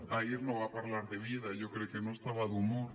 ahir no va parlar de vida jo crec que no estava d’humor